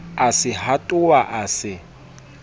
a se hatoha a se